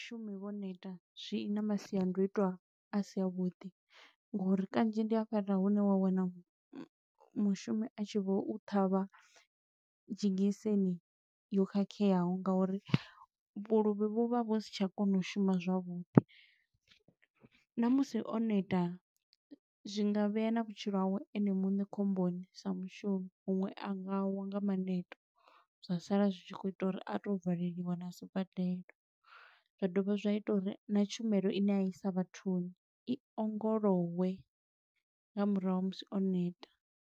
Vhashumi vho neta, zwi na masiandoitwa a si a vhuḓi ngo uri kanzhi ndi hafhaḽa hune wa wana mushumi a tshi vho u ṱhavha dzhegiseni yo khakheaho. Nga uri vhuluvhi vhu vha vhu si tsha kona u shuma zwavhuḓi. Na musi o neta, zwi nga vhea na vhutshilo hawe ene muṋe khomboni sa mushumi. Huṅwe a nga wa nga maneto, zwa sala zwi tshi khou ita uri a to valeliwa na sibadela. Zwa dovha zwa ita uri na tshumelo ine a i sa vhathuni. I ongolowe nga murahu ha musi o neta.